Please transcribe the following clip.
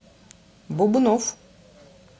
бубнов